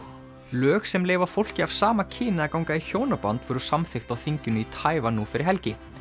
lög sem leyfa fólki af sama kyni að ganga í hjónaband voru samþykkt á þinginu í Taívan nú fyrir helgi